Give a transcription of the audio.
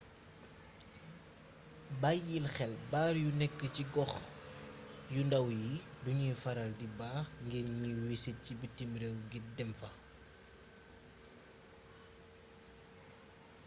bayyil xel baar yu nekk ci gox yu ndàw yi duñuy faral di baax ngir ñiy wisit ci bitim réew ngir dem fa